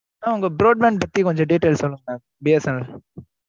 உங்க broad bank பத்தி கொஞ்சம் detail சொல்லுங்க. mam BSNL